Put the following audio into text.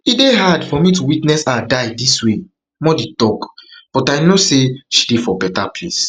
e dey hard for me to witness her die dis way modi tok but i know say she dey for better place